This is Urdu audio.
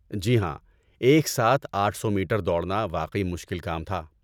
جی ہاں، ایک ساتھ آٹھ سو میٹر دوڑنا واقعی مشکل کام تھا